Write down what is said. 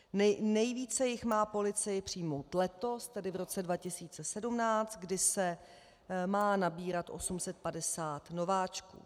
Nejvíce jich má policie přijmout letos, tedy v roce 2017, kdy se má nabírat 850 nováčků.